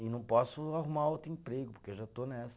E não posso arrumar outro emprego, porque eu já estou nessa.